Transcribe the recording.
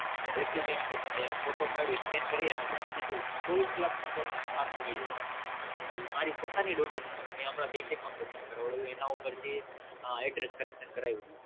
Document કે તમે Photo પાડી Scan કરી અને મુકીદૂધુ ચોવીસ કલાક ની અંદર આપી દયે છે મારી પોતાની Daughter નું મેં હમણાં Bank account open એના ઉપર થી Address Correction કરાવ્યું